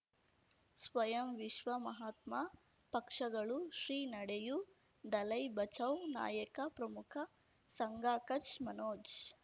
ಸ್ವಯಂ ವಿಶ್ವ ಮಹಾತ್ಮ ಪಕ್ಷಗಳು ಶ್ರೀ ನಡೆಯೂ ದಲೈ ಬಚೌ ನಾಯಕ ಪ್ರಮುಖ ಸಂಘ ಕಚ್ ಮನೋಜ್